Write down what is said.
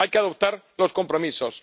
Hay que adoptar los compromisos.